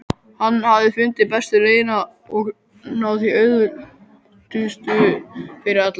Hann hafði fundið bestu leiðina og þá auðveldustu fyrir alla.